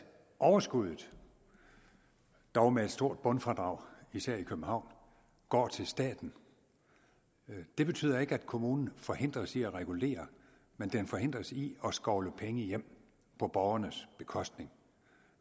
overskuddet dog med et stort bundfradrag især i københavn går til staten det betyder ikke at kommunen forhindres i at regulere men den forhindres i at skovle penge hjem på borgernes bekostning